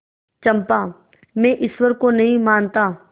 चंपा मैं ईश्वर को नहीं मानता